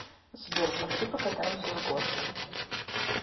сбер пошли покатаемся с горки